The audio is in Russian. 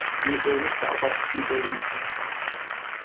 не появится а так не появится